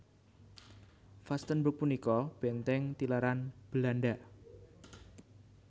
Vastenburg punika bèntèng tilaran Belanda